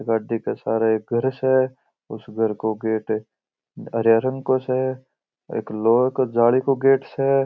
गाड़ी के सहारे एक घर स उस घर का गेट हरे रंग का स एक लोहे की जाली का गेट स।